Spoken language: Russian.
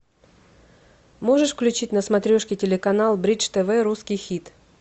можешь включить на смотрешке телеканал бридж тв русский хит